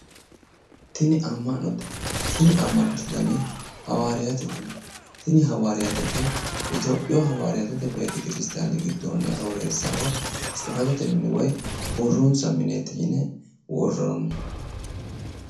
Tini amma'note. Tini amma'note dani hawaariyaatete. Tini hawaariyaatete itiyoophiyu hawaariyaatete beetekiristiyaane gidoonni arooreessaho tsifatete mine woyi borronsa mineeti yine worroonni.